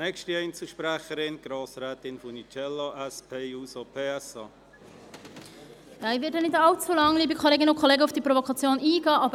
Ich werde nicht allzu lange auf diese Provokation eingehen.